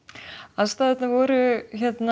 aðstæðurnar voru